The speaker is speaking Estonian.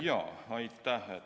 Jaa, aitäh!